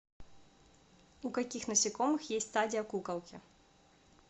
у каких насекомых есть стадия куколки